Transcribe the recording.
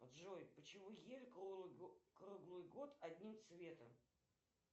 джой почему ель круглый год одним цветом